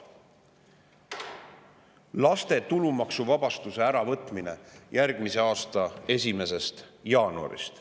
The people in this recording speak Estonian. laste eest äravõtmine alates järgmise aasta 1. jaanuarist.